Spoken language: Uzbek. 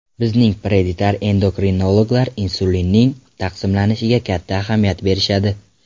Bizning pediatr-endokrinologlar insulinning taqsimlanishiga katta ahamiyat berishadi.